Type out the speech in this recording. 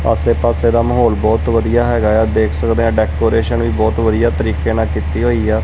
ਆਸੇ ਪਾੱਸੇ ਦਾ ਮਾਹੌਲ ਬਹੁਤ ਵਧੀਆ ਹਿਗਾਆ ਦੇਖ ਸਕਦੇ ਹਾਂ ਡੈਕੋਰੇਸ਼ਨ ਵੀ ਬਹੁਤ ਵਧੀਆ ਤਰੀਕੇ ਨਾਲ ਕੀਤੀ ਹੋਇਆ।